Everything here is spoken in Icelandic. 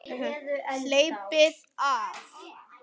Hleypið af!